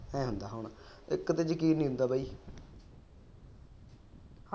ਇਕ ਤੇ ਯਕੀਨ ਨਹੀਂ ਹੁੰਦਾ ਬਾਈ